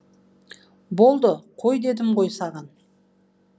болды қой дедім ғой саған